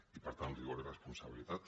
i per tant rigor i responsabilitat